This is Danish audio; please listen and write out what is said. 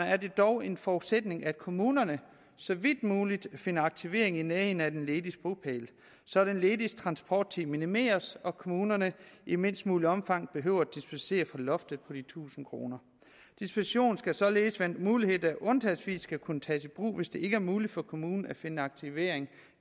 er det dog en forudsætning at kommunerne så vidt muligt finder aktivering i nærheden af den lediges bopæl så den lediges transporttid minimeres og kommunerne i mindst muligt omfang behøver at dispensere fra loftet på de tusind kroner dispensationen skal således være en mulighed der undtagelsesvis skal kunne tages i brug hvis det ikke er muligt for kommunen at finde aktivering